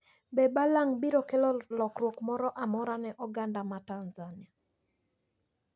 Be balang` biro kelo lokruok moro amora ne oganda Tanzania?